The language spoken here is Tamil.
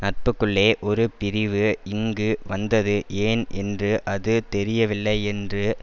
நட்புக்குள்ளே ஒரு பிரிவு இங்கு வந்தது ஏன் என்று அது தெரியவில்லை என்று